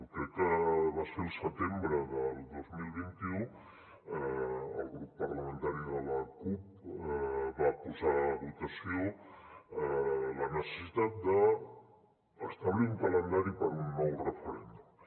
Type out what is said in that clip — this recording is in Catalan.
crec que va ser al setembre del dos mil vint u el grup parlamentari de la cup va posar a votació la necessitat d’establir un calendari per a un nou referèndum